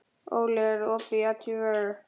Óli, er opið í ÁTVR?